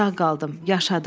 Sağ qaldım, yaşadım.